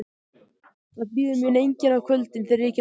Það bíður mín enginn á kvöldin, þegar ég kem heim.